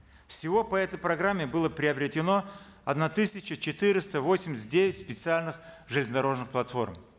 всего по этой программе было приобретено одна тысяча четыреста восемьдесят девять специальных железнодорожных платформ